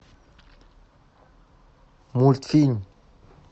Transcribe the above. мультфильм